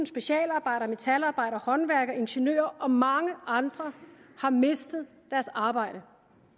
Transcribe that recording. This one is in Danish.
specialarbejdere metalarbejdere håndværkere ingeniører og mange andre har mistet deres arbejde